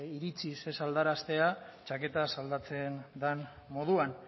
iritziz ez aldaratzea txaketaz aldatzen dan moduan